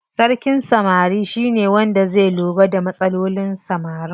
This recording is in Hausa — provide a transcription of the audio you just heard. Sarkin samari shine wanda zai lura da matsalolin samarin.